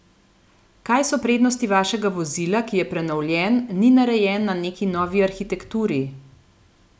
Kaj so prednosti vašega vozila, ki je prenovljen, ni narejen na neki novi arhitekturi?